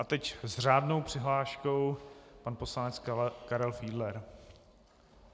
A teď s řádnou přihláškou pan poslanec Karel Fiedler.